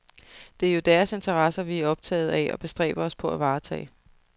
Det er jo deres interesser, vi er optaget af og bestræber os på at varetage.